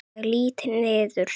Og ég lýt niður.